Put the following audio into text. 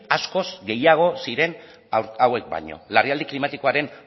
askoz gehiago ziren hauek baino larrialdi klimatikoaren